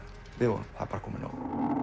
við vorum það er komið nóg